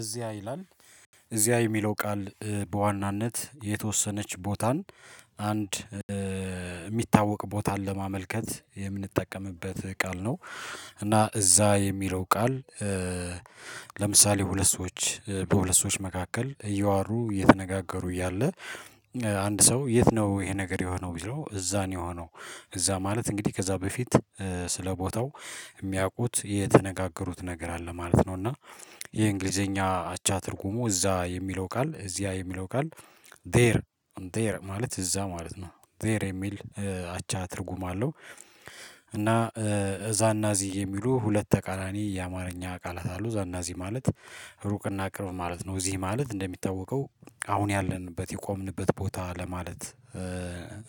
እዚያ ይላል እዚያ የሚለው ቃል በዋናነት የተወሰነች ቦታን አንድ የሚታወቅ ቦታን ለማመልከት የምንጠቀምበት ቃል ነው እና እዛ የሚለው ቃል። ለምሳሌ ሁለት ሰዎች በሁለት ሰዎች መካከል እየዋሩ እየተነጋገሩ እያለ አንድ ሰው የት ነው ይሄ ነገር የሆነው ቢለው እዛ ነው የሆነው። እዛ ማለት እንግዲህ ከዛ በፊት ስለ ቦታው የሚያውቁት የተነጋገሩት ነገር አለ ማለት ነው። እና የእንግሊዘኛ አቻ ትርጉሙ እዛ የሚለው ቃል እዚያ የሚለው ቃል ዜር ዜር ማለት እዛ ማለት ነው ዜር የሚል አቻ ትርጉም አለው። እና እዛና እዚህ የሚሉ ሁለት ተቃራኒ የአማርኛ ቃላት አሉ እዛናእዚ ማለት ሩቅና ቅርብ ማለት ነው። እዚህ ማለት እንደሚታወቀው አሁን ያለንበት የቆምንበት ቦታ ለማለት